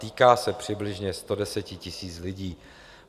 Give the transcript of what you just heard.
Týká se přibližně 110 000 lidí.